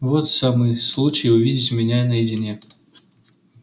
вот самый случай увидеть меня наедине